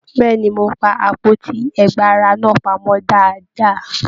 Bẹ̀ẹ́ni, mo pá àpótí ẹgba ara náà pamọ dáadáa.